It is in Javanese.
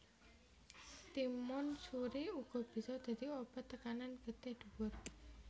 Timun suri uga bisa dadi obat tekanan getih dhuwur